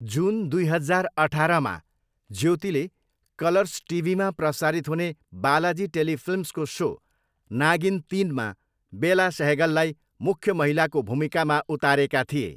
जुन दुई हजार अठारमा, ज्योतिले ज्योतिले कलर्स टिभीमा प्रसारित हुने बालाजी टेलिफिल्म्सको सो नागिन तिनमा बेला सेहगललाई मुख्य महिलाको भुमिकामा उतारेका थिए।